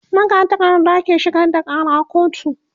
magatakarda ke shigar da Kara kotu